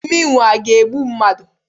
Mmịnwụ ọ ga-egbu mmadụ?